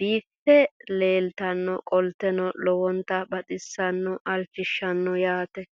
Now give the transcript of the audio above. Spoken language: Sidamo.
biiffe leeeltannoqolten lowonta baxissannoe halchishshanno yaate